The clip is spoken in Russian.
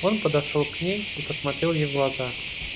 он подошёл к ней и посмотрел ей в глаза